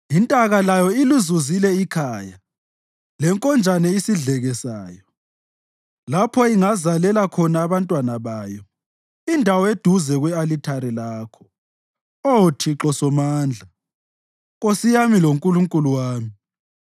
Intaka layo ilizuzile ikhaya, lenkonjane isidleke sayo, lapho ingazalela khona abantwana bayo indawo eduze kwe-alithari lakho, Oh Thixo Somandla, Nkosi yami loNkulunkulu wami.